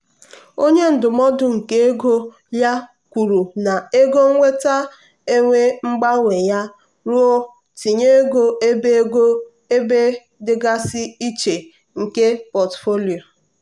onye ndụmọdụ nke ego ya kwuru na ego nnweta enwe mgbanwe ya ruo ntinye ego ebe ego ebe dịgasị iche nke pọtụfoliyo.